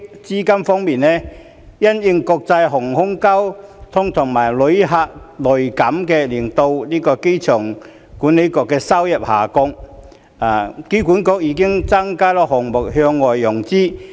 資金方面，因應國際航空交通和旅客量銳減令香港機場管理局的收入下降，機管局已增加了項目向外融資的比重。